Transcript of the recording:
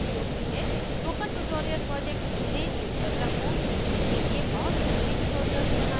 spoken tutorial project ने geogebra को सीखने के लिए बहुत अच्छे tutorials बनाये हैं